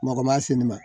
Mɔgɔ ma se ne ma